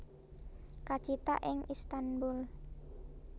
Kacithak ing Istanbul